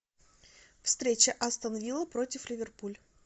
встреча астон вилла против ливерпуль